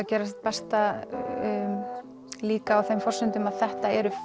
gera sitt besta líka á þeim forsendum að þetta eru